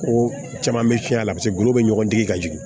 Ko caman bɛ fiyɛ a la paseke golo bɛ ɲɔgɔn digi ka jigin